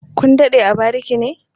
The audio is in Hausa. Kun daɗe a barike ne?